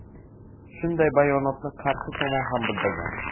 Shunday bayonotni qarshi tomon ham bildirgan.